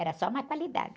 Era só má qualidade.